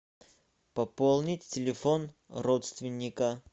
пополнить телефон родственника